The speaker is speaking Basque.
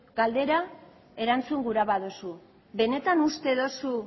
galdera erantzun gura baduzu benetan uste duzu